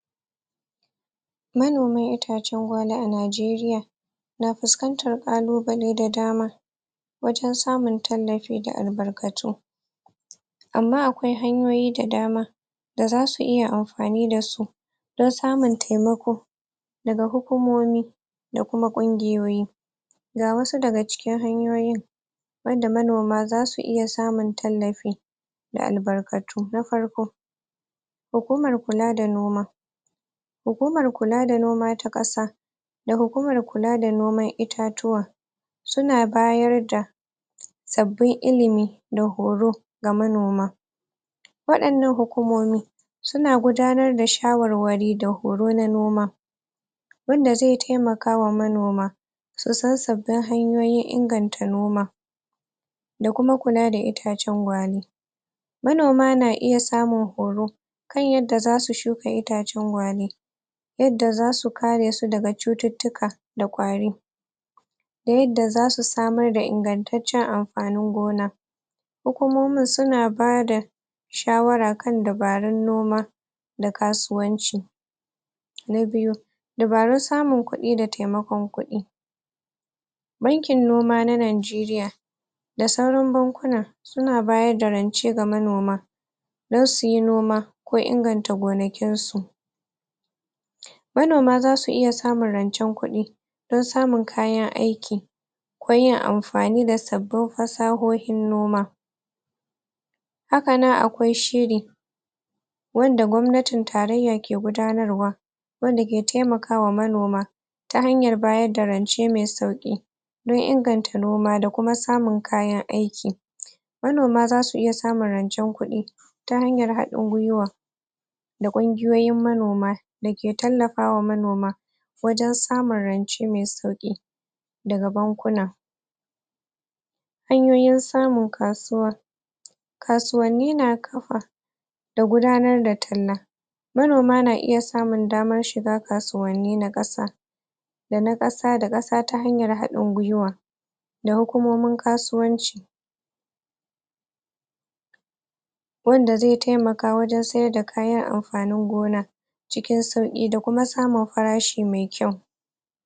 Manoma itacen gwale a najeriya Na fuskantar kalubalai da dama Wajen samun tallafi da albarkatu Amma, akwai hanyoyi da dama Da zasu iya amfani dasu Don samun taimako Daga hukumomi Da kuma kwungiyoyi Ga wasu daga cikin hanyoyin Da manoma zasu iya samun tallafi Da albarkatu na farko Hukumar kula da noma Hukumar kula da noma ta kasa Da hukumar kula da noman itatuwa Suna bayar da Sabbin illimi Da horo Ga manoma Wadannan hukumomi Suna gudanar da shawarware da horo na noma Wanda zai taimaka ma manoma Susan sabbin hanyoyin inganta noma Da kuma kula da itacen gwale Manoma na iya samun horo Kan yadda zasu shuka itacen gwale Yadda zasu kare su daga cuttutuka Da kwari Ta yadda zasu samar da ingantaccen amfanin gona Hukumomin suna bada Shawara kan dubarun noma Da kasuwanci Na biyu Dubarun samun kudi da taimakun kudi Bankin noma na najeriya Da sauran bankuna Suna bayar da rance ga manoma Don suyi noma Ko inganta gonakin su Manoma zasu iya samun rancen kudi Don samun kayan aiki Koyin amfani da sabbin fasahoyin noma Haka nan akwai shiri Wanda gwamnatin taraiya ke gudanar wa Wanda ke taimaka wa manoma Ta hanyar bayar da rance mai sauki Don inganta noma da kuma samun kayan aik Manoma zasu iya samun rancen kudi Ta hanyar hadin kai Da kungiyoyin manoma Dake tallafa wa manoma Wajen samun rance mai sauki Daga bankuna Hanyoyin samun kasuwa Kasuwanni na kafa, Da gudanar da talla Manoma na iya samun damar shiga kasuwanni na kasa Dana kasa da kasa ta hanyar hadin kai Da hukumomin kasuwanci Wanda zai taimaka wajen sayar da kayan amfanin gona Cikin sauki da kuma samun farashi mai kwau